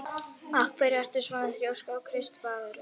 Af hverju ertu svona þrjóskur, Kristvarður?